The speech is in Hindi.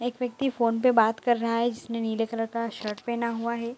एक व्यक्ति फ़ोन पे बात कर रहा है जिसने नीले कलर का शर्ट पेहना हुआ है।